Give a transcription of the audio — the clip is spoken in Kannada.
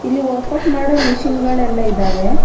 ಇಲ್ಲಿ ವರ್ಕ್ ಔಟ್ ಮಾಡೋ ಮಿಷೀನ್ ಗಳೆಲ್ಲಾ ಇದ್ದಾವೆ.